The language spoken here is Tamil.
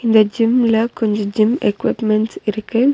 வே ஜிம்ல கொஞ்சோ ஜிம் எக்குப்மெண்ட்ஸ் இருக்கு.